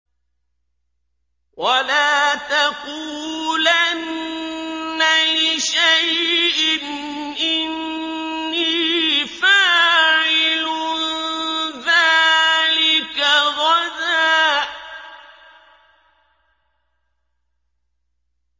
وَلَا تَقُولَنَّ لِشَيْءٍ إِنِّي فَاعِلٌ ذَٰلِكَ غَدًا